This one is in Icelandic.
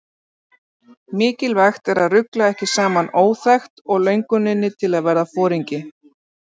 Mikilvægt er að rugla ekki saman óþekkt og lönguninni til að verða foringi.